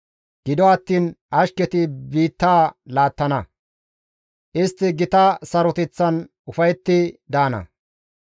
Gido attiin ashketi biitta laattana; istti gita saroteththan ufayetti daana.